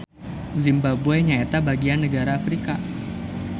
Zimbabwe nyaeta bagian nagara Afrika